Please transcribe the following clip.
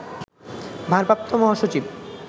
ভারপ্রাপ্ত মহাসচিব